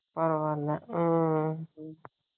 ம்